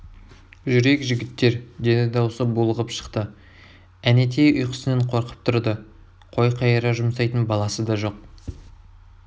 жүрейік жігіттер -деді даусы булығып шықты әнетей ұйқысынан қорқып тұрды қой қайыра жұмсайтын баласы да жоқ